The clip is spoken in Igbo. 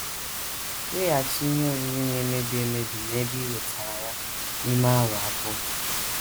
Weghachi ihe oriri na - emebi emebi n’ebe i wetara ya n’ime awa abụọ.